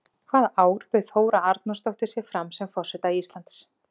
Hvaða ár bauð Þóra Arnórsdóttir sig fram sem forseta Íslands?